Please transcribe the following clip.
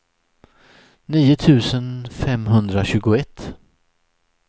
nio tusen femhundratjugoett